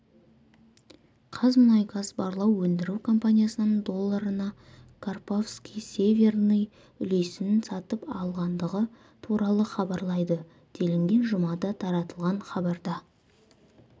қазмұнайгаз барлау өндіру компаниясынан долларына карповский северный үлесін сатып алғандығы туралы хабарлайды делінген жұмада таратылған хабарда